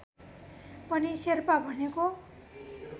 पनि शेर्पा भनेको